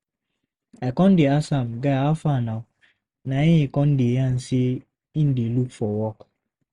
I con dey ask am, “Guy, hafa nah? Na im e con dey yarn sey im dey look for work.